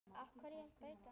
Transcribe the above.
Af hverju að breyta?